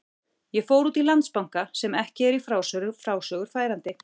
Ég fór út í Landsbanka, sem ekki er í frásögur færandi.